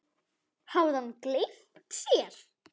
Hafði hann gleymt sér?